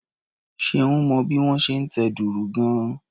Ṣeun mọ bí wón ṣe ń tẹ dùrù gan-an.